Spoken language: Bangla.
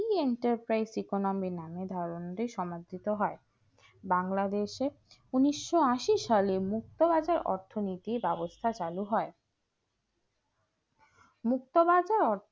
The enterprise economy নামে ধারণাটি সমর্থিত হয় বাংলাদেশে ঊনিশশো আশি সালে মুক্ত রাজা অর্থনৈতিক ব্যবস্থা চালু হয় মুক্তবাজার